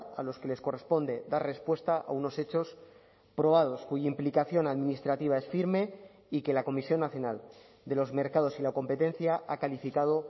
a los que les corresponde dar respuesta a unos hechos probados cuya implicación administrativa es firme y que la comisión nacional de los mercados y la competencia ha calificado